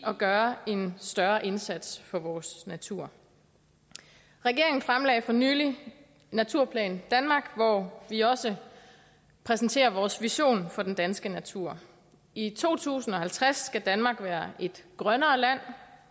at gøre en større indsats for vores natur regeringen fremlagde for nylig naturplan danmark hvor vi også præsenterer vores vision for den danske natur i to tusind og halvtreds skal danmark være et grønnere land